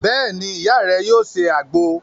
Beeni, Iya re yoo se agbo